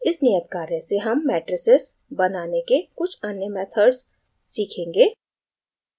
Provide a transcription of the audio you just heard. इस नियत कार्य से हम matrices बनाने के कुछ अन्य methods सीखेंगे